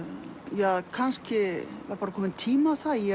ja kannski var bara kominn tími á það ég